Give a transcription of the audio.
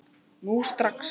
Nú strax!